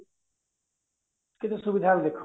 କେତେ ସୁବିଧା ହେଲା ଦେଖ